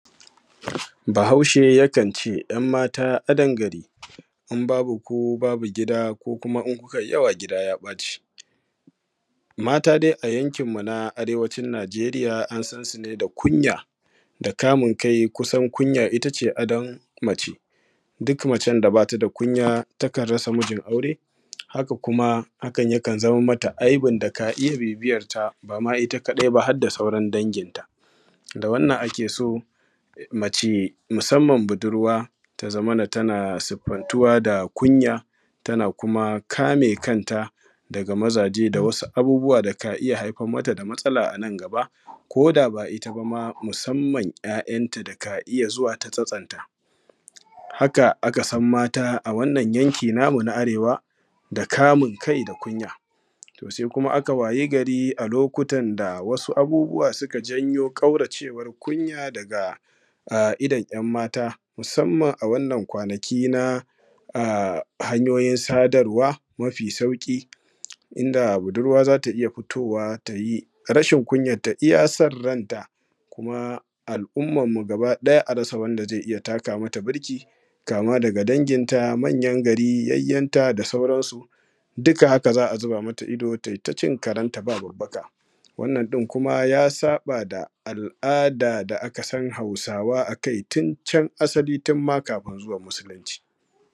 Bahaushe yakan ce yam mata adon garin, in babu ku babu gida in kuma kun yi yawa gida ya ɓaci. Mata dai a yankinmu na Arewacin Najeriya an san su da kunya da kamun kai. Kusan kunya ita ce adon n mace duk macen da ba ta da kunya takan rasa mijin aure kuma hakan yakan zaman mata aibin da kaniya bibiyanta ba ita kafai ba har da sauran danginta. Da wannan ake so mace musamman budurwa ta kasance da kasantuwa da kunya da kuma kame kanta daga mazaje da wasu abubuwa da ka iya haifar mata da matsala a nan gaba ko da ba ita ba musamman 'ya'yanta da za su iya zuwa ta tsatsonta. Haka aka san mata a wannan yanki namu na Arewa da kunya. Sai kuma aka wayi gari a wasu lokutan abubuwa suka janyo daga idon 'yan mata musamman a wannan kwanaki na hanyoyin sadarwa mafi sauƙi inda budurwa za ta iya fitowa ta yi rashin kunyarta iya san ranta al'ummarmu gaba ɗaya a rasa wanda zai iya taka mata burki kama daga danginta da yayinta da manyan gari da sauransu duka haka za a zuba mata ido tai ta cin karenta ba babbaka, wannan ɗin kuma ya saɓa da yadda al'ada da ƙasar Hausawa aka yi tun can ma asalin tun ma kafin zuwan Musulunci.